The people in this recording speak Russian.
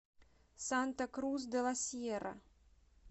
санта крус де ла сьерра